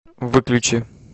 выключи